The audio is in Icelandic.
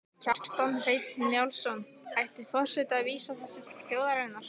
Kjartan Hreinn Njálsson: Ætti forseti að vísa þessu til þjóðarinnar?